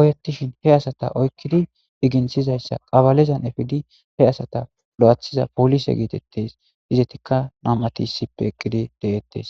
oyettishin he asata oykkidi iginthizayssa qabalizan efidi he asata lo'athiza polise geetettes izetika nam'ati issippe eqqidi deettes.